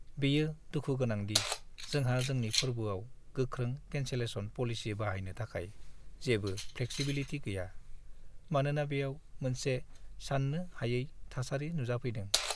बेयो दुखु गोनां दि जोंहा जोंनि फोरबोआव गोख्रों केन्सेलेशन पलिसि बाहायनो थाखाय जेबो फ्लेक्सिबिलिटि गैया, मानोना बेयाव मोनसे सान्नो हायै थासारि नुजाफैदों।